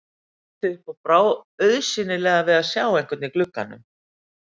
Hann leit upp og brá auðsjáanlega við að sjá einhvern í glugganum.